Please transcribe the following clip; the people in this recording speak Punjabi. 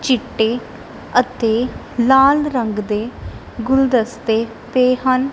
ਚਿੱਟੇ ਅਤੇ ਲਾਲ ਰੰਗ ਦੇ ਗੁਲਦਸਤੇ ਪਏ ਹਨ।